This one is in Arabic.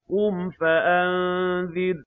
قُمْ فَأَنذِرْ